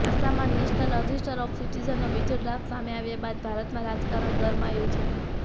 આસામમાં national register of સિટીઝનનો બીજો ડ્રાફ્ટ સામે આવ્યા બાદ ભારતમાં રાજકારણ ગરમાયું છે